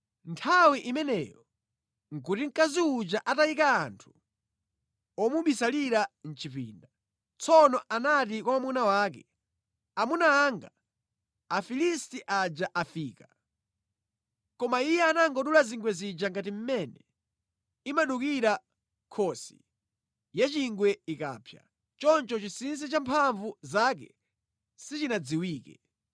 Nthawi imeneyo nʼkuti mkazi uja atayika anthu omubisalira mʼchipinda. Tsono anati kwa mwamuna wake, “Amuna anga, Afilisti aja afika!” Koma iye anangodula zingwe zija ngati mmene imadukira nkhosi ya chingwe ikamapsa. Choncho chinsinsi cha mphamvu zake sichinadziwike.